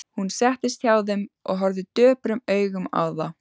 Hún settist hjá þeim og horfði döprum augum á þá.